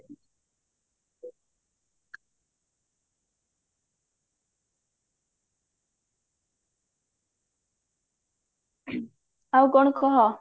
ଆଉ କଣ କଣ